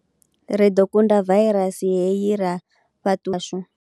Ri ḓo kunda vairasi hei ra tshashu.